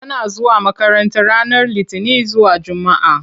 Tana zuwa makranta ranar Litini zuwa Jumaa.